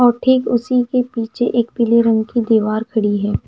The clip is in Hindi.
और ठीक उसी के पीछे एक पीले रंग की दीवार खड़ी है।